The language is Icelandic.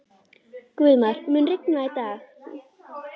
Guðmar, mun rigna í dag?